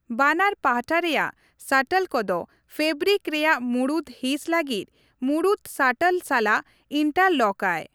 ᱵᱟᱱᱟᱨ ᱯᱟᱦᱴᱟ ᱨᱮᱭᱟᱜ ᱥᱟᱴᱚᱞ ᱠᱚᱫᱚ ᱯᱷᱮᱵᱨᱤᱠ ᱨᱮᱭᱟᱜ ᱢᱩᱲᱩᱫ ᱦᱤᱸᱥ ᱞᱟᱹᱜᱤᱫ ᱢᱩᱲᱩᱫ ᱥᱟᱴᱚᱞ ᱥᱟᱞᱟᱜ ᱤᱱᱴᱟᱨᱞᱚᱠᱟᱭ ᱾